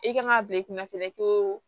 I kan ka bila i kunna fɛnɛ ko